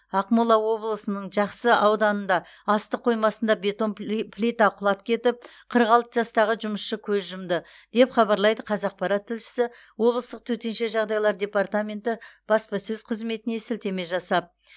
ақмола облысының жақсы ауданында астық қоймасында бетон пли плита құлап кетіп қырық алты жастағы жұмысшы көз жұмды деп хабарлайды қазақпарат тілшісі облыстық төтенше жағдайлар департаменті баспасөз қызметіне сілтеме жасап